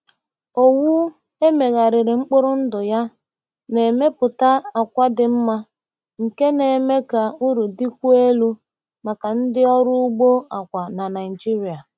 Owu e megharịrị mkpụrụ ndụ ya na-emepụta àkwà dị mma nke na-eme ka uru dịkwuo elu maka ndị ọrụ ugbo akwa na Naijiria.